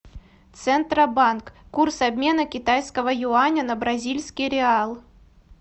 центробанк курс обмена китайского юаня на бразильский реал